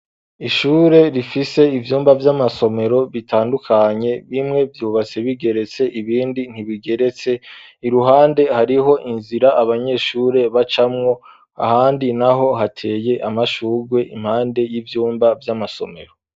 Ishure, rifise ivyumba vy’amasomero, bitandukanye; bimwe, vyubatse bigeretse, ibindi, ntibigeretse; iruhande, hariho inzira, abanyeshure bacamwo, ahandi naho, hateye amashurwe, impande y'ivyumba vy'amasomero.